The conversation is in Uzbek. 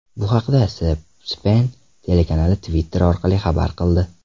Bu haqda C-Span telekanali Twitter orqali xabar qildi .